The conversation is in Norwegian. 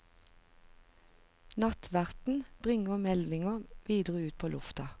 Nattverten bringer meldingen videre ut på lufta.